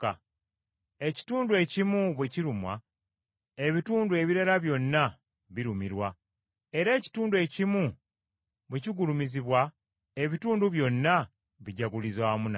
Ekitundu ekimu bwe kirumwa, ebitundu ebirala byonna birumirwa. Era ekitundu ekimu bwe kigulumizibwa, ebitundu byonna bijaguliza wamu nakyo.